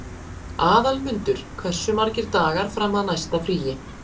Aðalmundur, hversu margir dagar fram að næsta fríi?